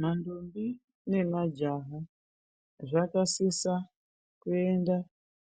Mandombi nemajaha zvakasisa kuenda